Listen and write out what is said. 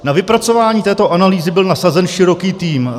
Na vypracování této analýzy byl nasazen široký tým.